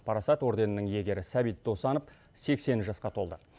парасат орденінің иегері сәбит досанов сексен жасқа толды